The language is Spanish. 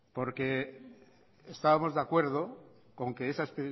porque estábamos de acuerdo con que esa